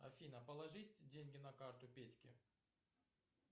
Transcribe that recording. афина положить деньги на карту петьке